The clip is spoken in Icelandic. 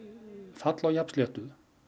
fall á jafnsléttu